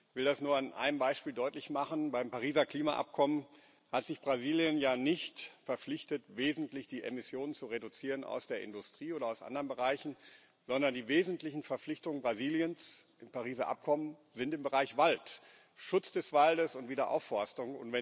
Ich will das nur an einem Beispiel deutlich machen Beim Pariser Klimaabkommen hat sich Brasilien ja nicht verpflichtet, wesentlich die Emissionen aus der Industrie oder aus anderen Bereichen zu reduzieren, sondern die wesentlichen Verpflichtungen Brasiliens im Pariser Abkommen sind im Bereich Wald Schutz des Waldes und Wiederaufforstung.